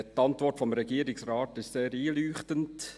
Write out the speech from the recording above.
Die Antwort des Regierungsrates ist sehr einleuchtend.